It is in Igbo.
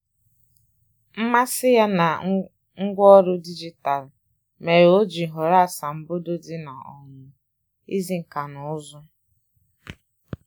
Mmasị ya na ngwaọrụ dijitalụ mere o ji họrọ asambodo dị na um izi nka na ụzụ